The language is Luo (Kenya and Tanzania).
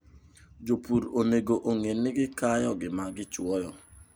Jopur onego ong'e ni gikayo gima gichuoyo.